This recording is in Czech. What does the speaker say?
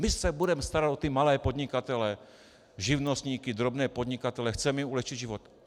My se budeme starat o ty malé podnikatele, živnostníky, drobné podnikatele, chceme jim ulehčit život.